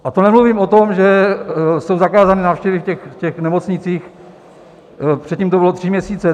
A to nemluvím o tom, že jsou zakázané návštěvy v těch nemocnicích, předtím to byly tři měsíce.